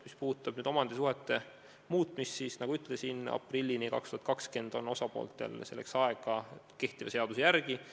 Mis puudutab omandisuhete muutmist, siis, nagu ma ütlesin, aprillini 2020 on osapooltel selleks aega kehtiva seaduse järgi.